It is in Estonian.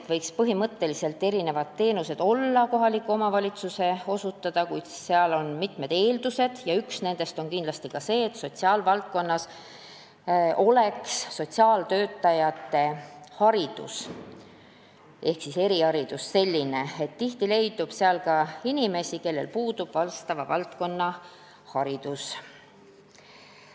Ta märkis, et põhimõtteliselt võiksid teenused olla kohaliku omavalitsuse osutada, kuid sellel on teatud eeldused ja üks nendest on kindlasti see, et sotsiaalvaldkonna töötajatel oleks eriharidus – tihti leidub seal ka inimesi, kellel puudub vastava valdkonna haridus.